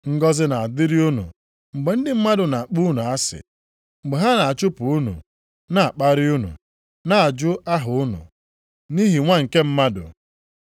Ngọzị na-adịrị unu mgbe ndị mmadụ na-akpọ unu asị, mgbe ha na-achụpụ unu, na-akparị unu, na-ajụ aha unu, nʼihi Nwa nke Mmadụ.